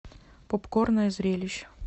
попкорна и зрелищ